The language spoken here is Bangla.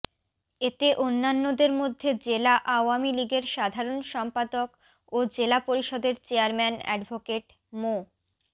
এতে অন্যান্যদের মধ্যে জেলা আওয়ামী লীগের সাধারণ সম্পাদক ও জেলা পরিষদের চেয়ারম্যান অ্যাডভোকেট মো